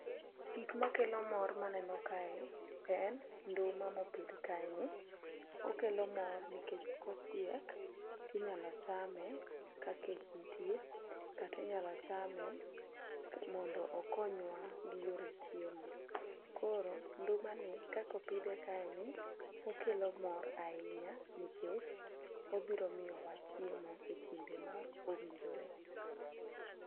Gik makelo mor maneno kae, en nduma mopidh kae ni. Okelo mor nikech kochiek tinyalo chame ka kech nitie, kata inyalo chame mondo okonywa gi yore chiemo. Koro nduma ni kakopidhe kae ni okelo mor ahinya nikech obiro miyowa chiemo e kinde ma owinjore.